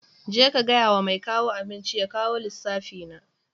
Je ka gaya wa mai kawo abinci ya kawo lissafi na.